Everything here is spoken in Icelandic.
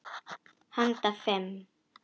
Handa fimm